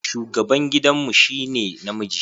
Shugaban gidan mu shi ne namiji.